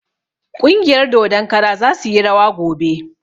Ƙungiyar dodon kara za suyi rawa gobe